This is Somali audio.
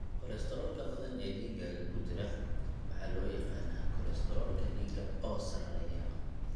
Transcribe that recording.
Kolestaroolka badan ee dhiiggaaga ku jira waxaa loo yaqaannaa kolestaroolka dhiigga oo sarreeya.